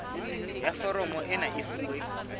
ya foromo ena e fuwe